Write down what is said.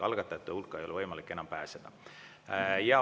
Algatajate hulka ei ole võimalik enam pääseda.